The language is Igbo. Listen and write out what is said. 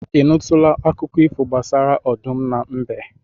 Ị nụtụla akụkọ ifo gbasara ọdụm na mbe?